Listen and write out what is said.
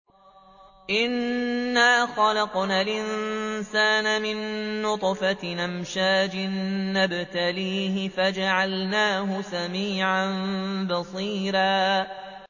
إِنَّا خَلَقْنَا الْإِنسَانَ مِن نُّطْفَةٍ أَمْشَاجٍ نَّبْتَلِيهِ فَجَعَلْنَاهُ سَمِيعًا بَصِيرًا